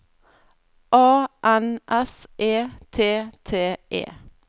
A N S E T T E